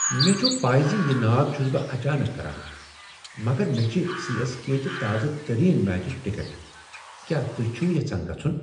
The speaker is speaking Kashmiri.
مےٚ چھ پَے زِ یہ ناد چُھس بہٕ اچانک کران مگر مےٚ چھ سی۔ ایس۔ کے۔ چہ تازٕ ترین میچٕچ ٹکت۔ کیا تہۍ چھو یژھان گژھن؟